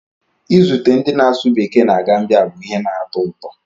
Izute ndị na-asụ Bekee na Gambiya bụ ihe na-atọ ụtọ